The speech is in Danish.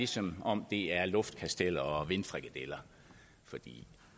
som om det er luftkasteller og vindfrikadeller for